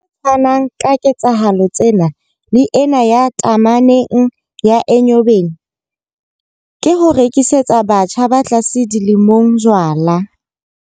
Se tshwanang ka ketsahalo tsena le ena ya tameneng ya Enyobeni, ke ho rekisetsa batjha ba tlase dilemong jwala.